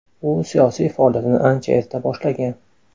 U siyosiy faoliyatini ancha erta boshlagan.